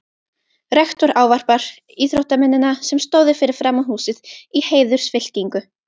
Rektor ávarpar íþróttamennina, sem stóðu fyrir framan húsið í heiðursfylkingu.